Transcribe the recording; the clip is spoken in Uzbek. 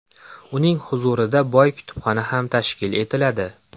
Uning huzurida boy kutubxona ham tashkil etiladi.